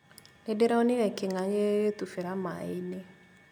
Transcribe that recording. Nĩndĩronire kĩng'ang'i gĩgĩtubĩra maĩ-inĩ